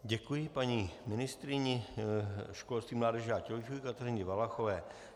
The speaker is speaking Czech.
Děkuji paní ministryni školství, mládeže a tělovýchovy Kateřině Valachové.